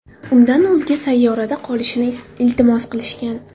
Undan o‘zga sayyorada qolishini iltimos qilishgan.